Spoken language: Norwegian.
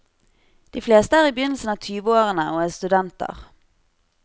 De fleste er i begynnelsen av tyveårene og er studenter.